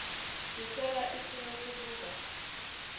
sithola isimo sokuba